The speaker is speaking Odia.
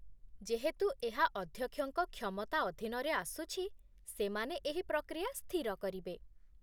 ଯେହେତୁ ଏହା ଅଧ୍ୟକ୍ଷଙ୍କ କ୍ଷମତା ଅଧୀନରେ ଆସୁଛି, ସେମାନେ ଏହି ପ୍ରକ୍ରିୟା ସ୍ଥିର କରିବେ